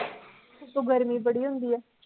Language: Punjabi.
ਉੱਤੋਂ ਗਰਮੀ ਬੜੀ ਹੁੰਦੀ ਐ